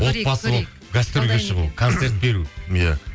отбасы болып гастрольге шығу концерт беру иә